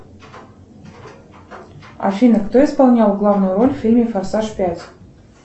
афина кто исполнял главную роль в фильме форсаж пять